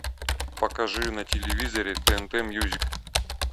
покажи на телевизоре тнт мьюзик